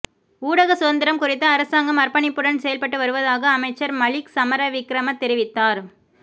ஊடகச் சுதந்திரம் குறித்து அரசாங்கம் அர்ப்பணிப்புடன் செயல்பட்டு வருவதாக அமைச்சர் மலிக் சமரவிக்ரம தெரிவித்தார்